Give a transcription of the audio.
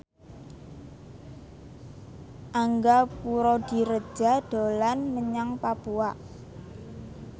Angga Puradiredja dolan menyang Papua